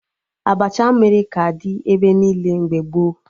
Abacha mmiri ka dị ebe niile mgbe gboo